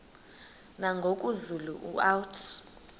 nangoku zulu uauthi